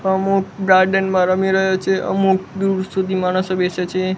અમુક ગાર્ડન મા રમી રહ્યો છે અમુક દૂર સુધી માણસો બેસે છે.